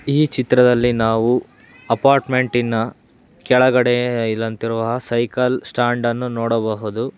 ಈ ಚಿತ್ರದಲ್ಲಿ ನಾವು ಅಪಾರ್ಟ್ಮೆಂಟಿನ ಕೆಳಗಡೆ ಇಲ್ಲಂತಿರುವ ಸೈಕಲ್ ಸ್ಟ್ಯಾಂಡನ್ನು ನೋಡಬಹುದು.